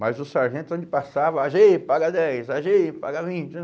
Mas o sargento onde passava, á gê, paga dez, á gê, paga vinte.